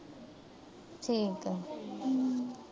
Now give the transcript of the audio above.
ਠੀਕ ਆ। ਹੂੰ।